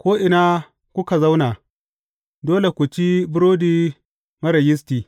Ko’ina kuka zauna, dole ku ci burodi marar yisti.